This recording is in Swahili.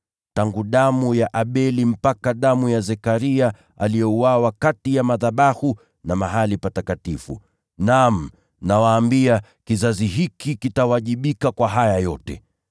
tangu damu ya Abeli mpaka damu ya Zekaria, aliyeuawa kati ya madhabahu na mahali patakatifu. Naam, nawaambia, kizazi hiki kitawajibika kwa haya yote.